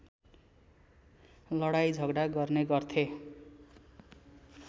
लडाईँँ झगडा गर्ने गर्थे